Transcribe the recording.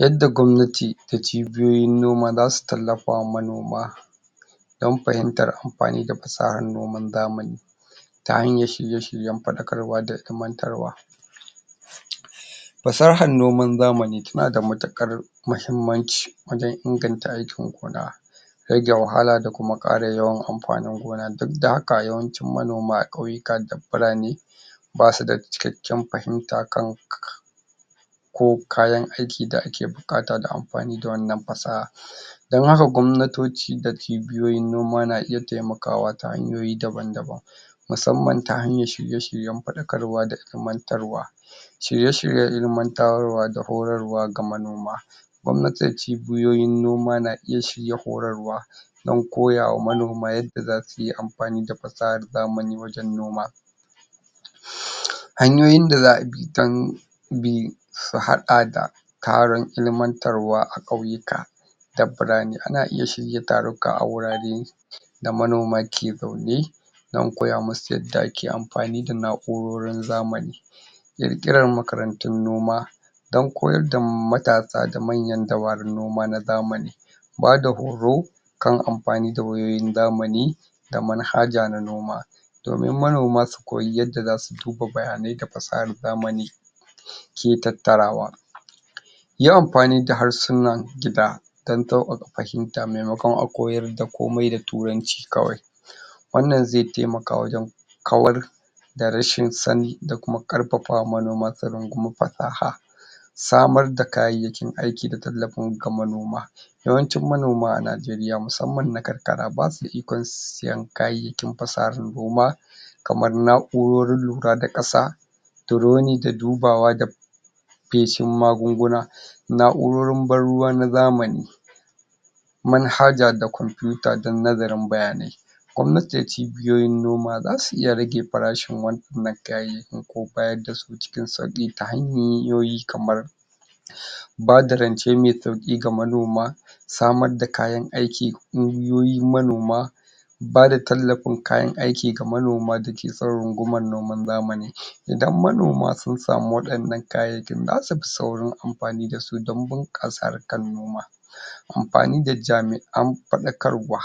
Yadda gwamanti da cibiyoyin noma za su tallafawa manoma don fahimtar amfani da fasahar noam zamani ta hanyar shiry-shiryen faɗakantarwa da ilimantarwa fasahar noman zamani tana da matuƙar muhimmanci wajen inganta aikin gona rage wahala da kuma ƙara amfanin gona, duk da haka yawancin manoma a ƙauyuka da bira ne ba su da cikakkiyar fahimata kan ko kayan aiki da ake buƙata da amfani da wannan fasaha. Don haka gwamnatoci da cibiyoyin noma na iya taimakawa ta hanyoyi daban-daban musamman ta hanyar shiry-shiryen faɗakarwa da ilimantarwa shirye-shiryen ilimantarwa da horarwa ga manoma. Gwamnati da cibiyoyin noma na iya shirya horarwa don koya wa manoma yadda za su yi amfani da fasahar zamani wajen noma. hanyoyin da za abi sun haɗa da taron ilimantara a ƙauyuka da birane a na iya shirya taruka a wurare da manoma ke zaune don a koya masu yadda ake amfani da na'urorin zamani ƙirƙirar makarantun noma. don koyar da matsa da manyan dabarun noma na zamani ba da horo kan amfani da wayayoyin zamani da manhaja na noma. domin manoma su koyi yanda za su duba bayanai da fasahar zamani ke tattarawa yin amfani da harsunan gida don sauƙaƙa fahimta maimakon yin amfani da Turanci kawai wannan zai taimaka wajen kawar da rashin sani da kuma ƙarfafawa manoma su rungumi fasaha samar da kayayyakin aiki da tallafin gama noma yawancin manoma a Najeria musamman na karkara ba su da ikon siyen kayan fasahar noma kamar na'urorin lura da ƙasa da roni da dubawa da feshin magunguna na'urorin ban ruwa na zamani manhaja da kwamfiyuta don nazarin bayanai. Gwamnati da cibiyoyin noma za su iya rage farashin waɗannan kayayakin ko bayar da su cikin sauƙi ta hanyoyi kamar bada rance mai sauƙi ga manoma, samar da kayan aiki ga ƙungiyoyin manoma ba da tallafin kayan aiki ga manoman da ke son rungumar noman zamani Idan manoma sun samu waɗannan kayayakin za su fi saurin amfani da su don inganta aikin noma. da amfani da jami'an faɗakarwa